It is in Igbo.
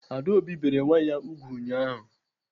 Adaobi bere nwa ya ùgwù ụnyaahụ.